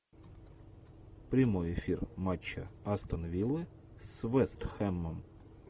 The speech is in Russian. прямой эфир матча астон виллы с вест хэмом